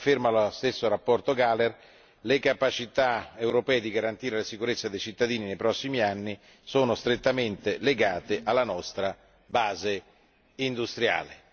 Come afferma la stessa relazione Gahler, le capacità europee di garantire la sicurezza dei cittadini nei prossimi anni sono strettamente legate alla nostra base industriale.